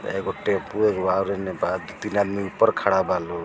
एगो टेंपू एगो और एने बाद तीन आदमी ऊपर खड़ा बा लोग।